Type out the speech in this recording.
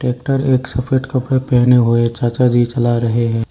Tractor एक सफेद कपड़े पहने हुए चाचा जी चला रहे हैं।